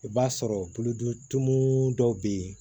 I b'a sɔrɔ bolodenton dɔw bɛ yen